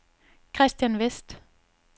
Kristian Westh